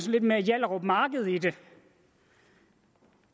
lidt mere hjallerup marked i det